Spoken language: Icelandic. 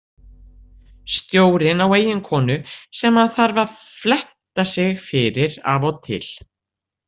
Stjórinn á eiginkonu sem hann þarf að fletta sig fyrir af og til.